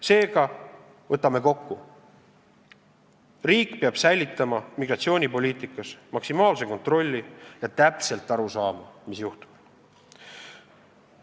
Seega, võtame kokku: riik peab säilitama migratsioonipoliitikas maksimaalse kontrolli ja täpselt aru saama, mis juhtub.